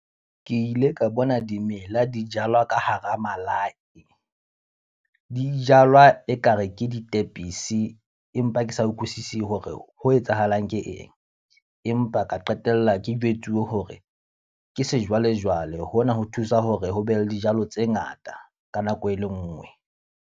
Ke ile ka bona dimela di jalwa ka hara malaye. Di jalwa e ka re ke ditepisi empa ke sa utlwisisi hore ho etsahalang ke eng. Empa ka qetella ke jwetsuwe hore ke sejwalejwale, hona ho thusa hore ho be le dijalo tse ngata ka nako e le nngwe.